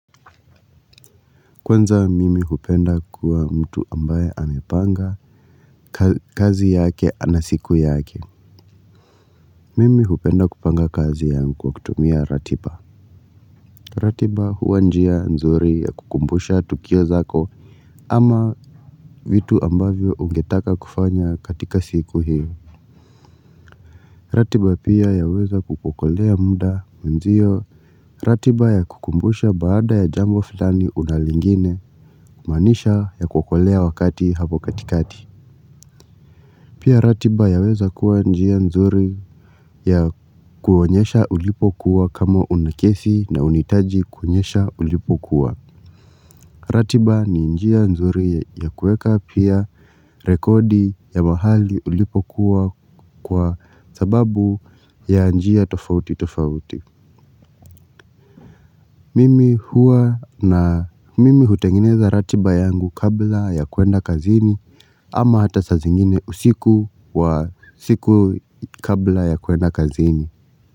Kwanza mimi hupenda kuwa mtu ambaye hupanga kazi yake ama siku yake. Mimi hupenda kupanga kazi yangu kwa kutumia ratiba. Ratiba huwa njia nzuri ya kukumbusha tukio zako. Ama vitu ambavyo ungetaka kufanya katika siku hiyo. Ratiba pia yaweza kukuokolea muda. Wenzio ratiba ya kukumbusha baada ya jambo fulani una lingine. Maanisha yakuokolea wakati hapo katikati. Pia ratiba yaweza kuwa njia nzuri ya kuonyesha ulipo kuwa kama una kesi na unahitaji kuonyesha ulipokuwa. Ratiba ni njia nzuri ya kuweka pia rekodi ya mahali ulipo kuwa kwa sababu ya njia tofauti tofauti. Mimi huwa na mimi hutengeneza ratiba yangu kabla ya kwenda kazini ama hata saa zingine usiku wa siku kabla ya kwenda kazini.